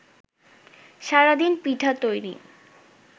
সারাদিন পিঠা তৈরি